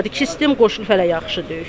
İki sistem qoşulub, hələ yaxşı deyil.